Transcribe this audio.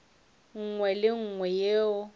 nngwe le ye nngwe ye